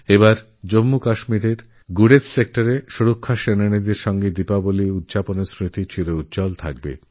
এবার জম্মুকাশ্মীরের গুরেজ সেক্টরে প্রতিরক্ষা বাহিনীর সঙ্গে দীপাবলী পালনআমার জন্য অবিস্মরণীয় হয়ে রইল